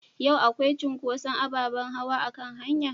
Yau akwai cunkoson abaɓen hawa a hanua?